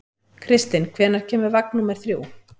Kristinn, hvenær kemur vagn númer þrjú?